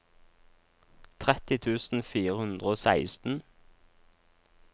tretti tusen fire hundre og seksten